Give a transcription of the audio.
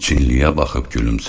Çinliyə baxıb gülümsədi.